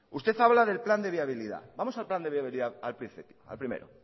usted habla del plan de viabilidad vamos al plan de viabilidad al primero